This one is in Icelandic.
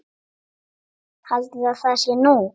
Haldiði að það sé nú!